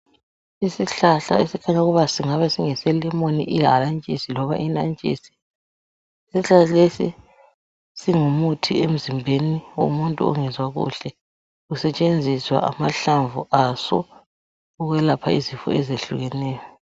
Isihlhla esifuna ukuba singabe singese lemon ihalantshisi loba inantshisi. Isihlahla lesi singumuthi emzimbeni womuntu ongezwa kuhle sisetshenziswa amahlamvu aso ukwelapha izifo ezehlukeneyo